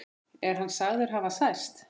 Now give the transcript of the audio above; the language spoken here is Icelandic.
Er hann sagður hafa særst.